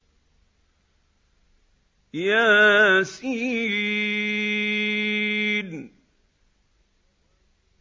يس